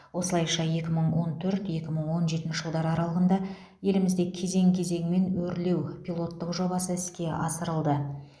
осылайша екі мың он төрт екі мың он жетінші жылдар аралығында елімізде кезең кезеңімен өрлеу пилоттық жобасы іске асырылды